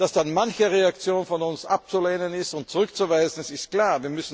Dass dann manche Reaktionen von uns abzulehnen und zurückzuweisen sind, ist klar.